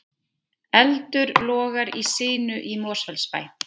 Eldur logar í sinu í Mosfellsbæ